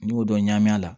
N'i y'o dɔn ɲami a la